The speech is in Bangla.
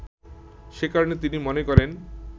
সে কারণে তিনি মনে করেন